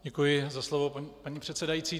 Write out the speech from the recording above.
Děkuji za slovo, paní předsedající.